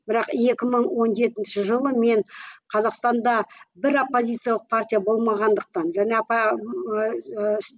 бірақ екі мың он жетінші жылы мен қазақстанда бір оппозициялық партия болмағандықтан және